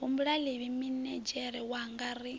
humbula ḽivhili minidzhere wanga ri